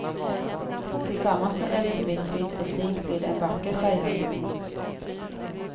Tillsammans med elfenbensvitt och zink blir det en vacker färgharmoni.